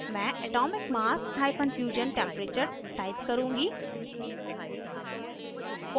mass atomic mass – fusion temperature type करुँगी